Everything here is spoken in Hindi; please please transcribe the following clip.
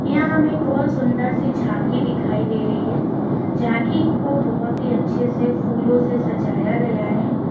यहाँ हमे एक बहुत सुंदर सी झांकी दिखाई दे रही है झांकी को बहुत ही अच्छे से फूलों से सजाया गया है।